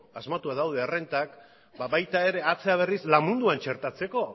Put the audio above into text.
asmatuak daude errentak baita ere atzera berriz lan munduan txertatzeko